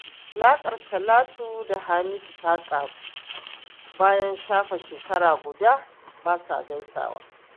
Alaƙar Talatu da Hamisu ta ƙaru, bayan shafe shekara guda ba sa gaisawa